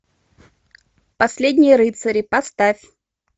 последние рыцари поставь